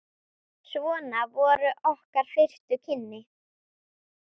Svona voru okkar fyrstu kynni.